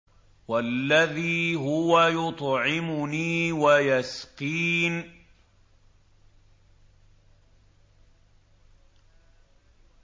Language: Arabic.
وَالَّذِي هُوَ يُطْعِمُنِي وَيَسْقِينِ